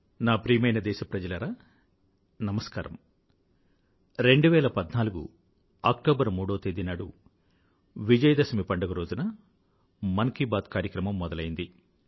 నా ప్రియమైన దేశప్రజలారా నమస్కారం 2014 అక్టోబర్ 3వ తేదీ నాడు విజయదశమి పండుగ రోజున మన్ కీ బాత్ కార్యక్రమం మొదలైంది